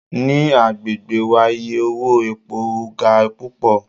Ni agbegbe wa iye owo epo ga pupọ